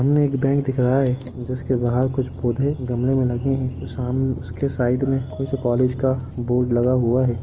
सामने एक बेंक दिख रहा है जिसके बहार कुछ पौधे गमले में लगे है उसके सामने उसके साईड में कुछ कोलेज का बोर्ड लगा हुआ है।